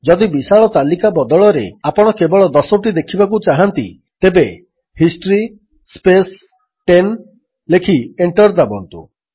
ଯଦି ବିଶାଳ ତାଲିକା ବଦଳରେ ଆପଣ କେବଳ ଦଶୋଟି ଦେଖିବାକୁ ଚାହାନ୍ତି ତେବେ ହିଷ୍ଟ୍ରୀ ସ୍ପେସ୍ 10 ଲେଖି ଏଣ୍ଟର୍ ଦାବନ୍ତୁ